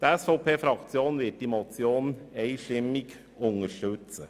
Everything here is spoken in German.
Die SVP-Fraktion wird diese Motion einstimmig unterstützen.